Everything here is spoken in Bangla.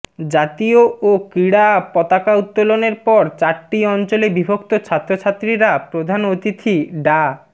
জাতীয় ও ক্রীড়া পতাকা উত্তোলনের পর চারটি অঞ্চলে বিভক্ত ছাত্রছাত্রীরা প্রধান অতিথি ডা